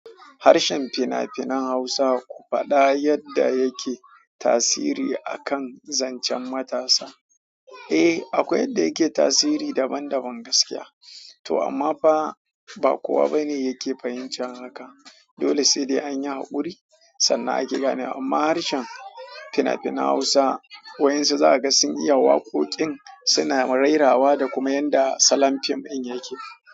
Harshen fina-finan Hausa ku faɗa yadda yake tasiri a kan zancen matasa? Eh, akwai yadda yake tasiri daban-daban gaskiya. To amma fa ba kowa ba ne yake fahimci haka. Dolai sai dai anyi haƙuri sannan ake ganewa amma harshen fina-finan Hausa waƴansu za ka ga sun iya waƙoƙin, suna ma rairawa da kuma yanda salon fim ɗin yake.